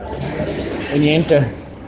мне это